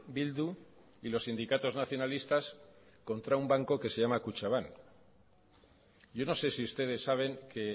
bildu y los sindicatos nacionalistas contra un banco que se llama kutxabank yo no sé si ustedes saben que